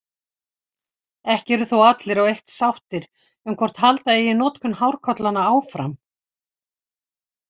Ekki eru þó allir á eitt sáttir um hvort halda eigi notkun hárkollanna áfram.